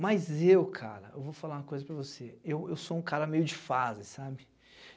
Mas eu, cara, eu vou falar uma coisa para você, eu eu sou um cara meio de fase, sabe?